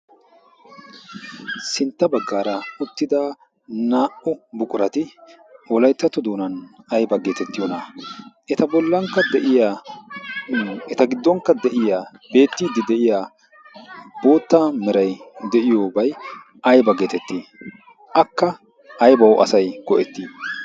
Sintta bagaara uttida naa"u buqurati wolayttatto doonan ayba geetettiyoonaa? eta bolankka de'iya eta giddonkka de'iya beettiiddi de'iya bootta meray de'iyoobay ayba geetettii? akka asay aybawu go'etii?